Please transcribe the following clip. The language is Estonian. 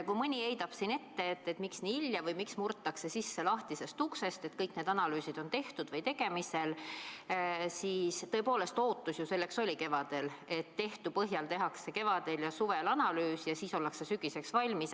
Kui mõni heidab siin ette, et miks nii hilja või miks murtakse sisse lahtisest uksest, kõik need analüüsid on tehtud või tegemisel, siis tõepoolest, ootus selleks oli ju kevadel, et tehtu põhjal tehakse kevadel ja suvel analüüs ja siis ollakse sügiseks valmis.